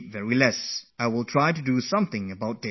This is my shortcoming which I will try to overcome